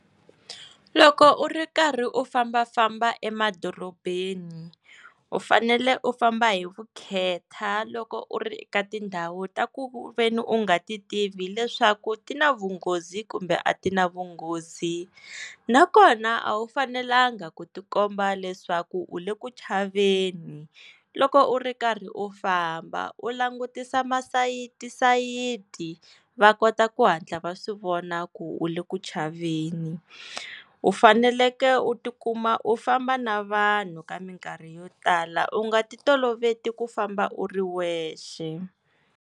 Loko u ri karhi u fambafamba emadorobeni u fanele u famba hi vukhetha loko u ri eka tindhawu ta ku ve ni u nga ti tivi leswaku ti na vunghozi kumbe a ti na vunghozi nakona a wu fanelanga ku tikomba leswaku u le ku chaveni loko u ri karhi u famba u langutisa masayitisayiti va kota ku hatla va swi vona ku u le ku chaveni u faneleke u tikuma u famba na vanhu ka minkarhi yo tala u nga ti toloveti ku famba u ri wexe.